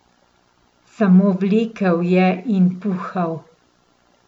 Samo vlekel je in puhal.